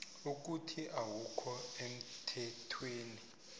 ukuthi awukho emthethweni